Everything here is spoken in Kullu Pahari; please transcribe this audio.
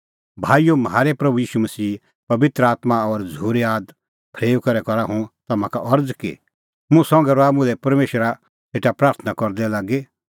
भाईओ म्हारै प्रभू ईशूए पबित्र आत्मां और झ़ूरी आद फरेऊई करै करा हुंह तम्हां का अरज़ कि मुंह संघै रहा मुल्है परमेशरा सेटा प्राथणां करदै लागी